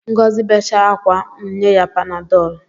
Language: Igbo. Ngọzi becha akwa, m nye ya panadọl